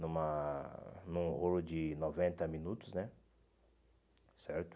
numa num rolo de noventa minutos né, certo?